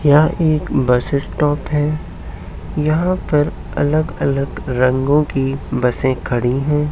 यहाँ एक bus stop है। यहाँ पर अलग अलग रंगों की बसें खड़ी हैं।